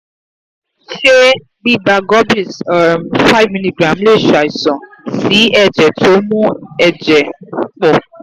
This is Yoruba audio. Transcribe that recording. ṣé gbígba gorbis um 5mg lè ṣàìsàn sí ẹ̀jẹ̀ tó ń mú um ẹ̀jẹ̀ pọ̀?